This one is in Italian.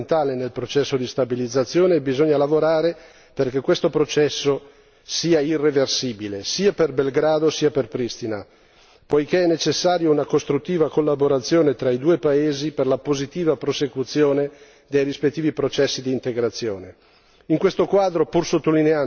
Siamo ad un punto di svolta fondamentale nel processo di stabilizzazione e bisogna lavorare perché questo processo sia irreversibile, sia per Belgrado sia per Pristina, poiché è necessaria una costruttiva collaborazione tra i due paesi per la positiva prosecuzione dei rispettivi processi di integrazione.